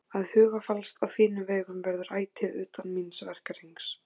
Að hugfallast á þínum vegum verður ætíð utan míns verkahrings.